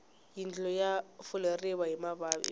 yindlu ya fuleriwa hi mabyanyi